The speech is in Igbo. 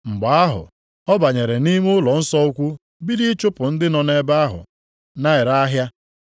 Mgbe ahụ, ọ banyere nʼime ụlọnsọ ukwu bido ịchụpụ ndị nọ ebe ahụ na-ere ahịa.